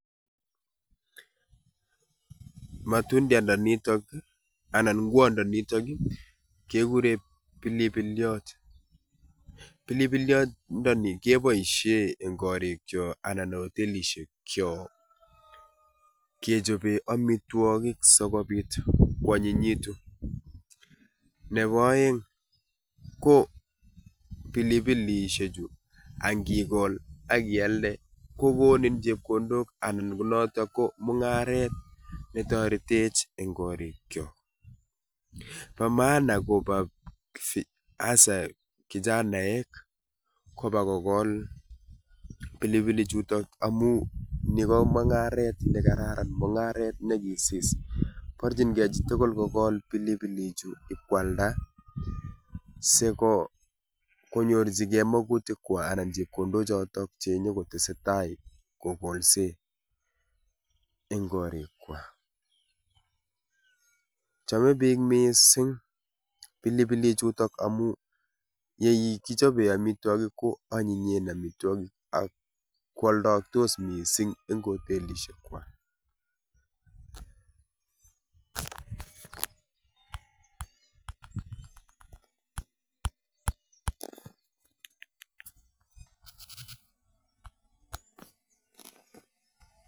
Matundianda nitok anan nguondo nitok ii kegure pilipilyot. Pilipilyondoni keboisie eng' gorik cho anan hotelishek cho kechobe amiwogik sogobit kwanyinyitu. Nebo aeng, ko pilipilishek chu angikol akialde kogonin chepkondok anan ko notok ko mung'aret netoretech eng' gorik kyo. Ba maana kobo [sc] hasa kichanaek koba kogol pilipili chutok amu ni ko mung'aret ne kararan, mung'aret ne kisis. Borchingei chi tugul kogol pilipilichu ibkwalda sigo konyorchigei magutik kwa anan chepkondok chotok che nyokotesetai kogolse eng' gorik kwa. Chome biik missing pilipilik chutok amu yeikichobe amitwogik ko anyinyen amitwogik ak kwoldoaktos missing eng' hotelishek kwak.